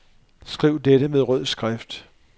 Skriv dette med rød skrift.